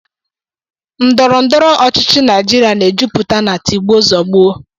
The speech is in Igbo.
Ndọrọndọrọ ọchịchị Naijiria na-ejupụta na tigbuo zọgbuo